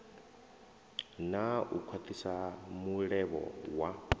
na u khwathisa mulevho wa